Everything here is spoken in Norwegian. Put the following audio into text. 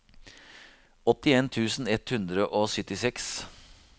åttien tusen ett hundre og syttiseks